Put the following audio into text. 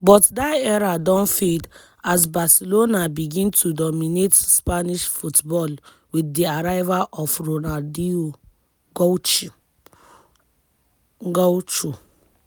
but dat era don fade as barcelona begin to dominate spanish football wit di arrival of ronaldinho gaucho.